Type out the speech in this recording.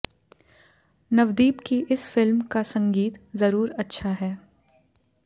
नवदीप की इस फिल्म का संगीत जरूर अच्छा है